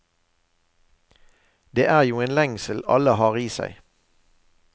Det er jo en lengsel alle har i seg.